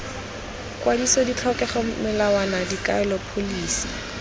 kwadiso ditlhokego melawana dikaelo pholisi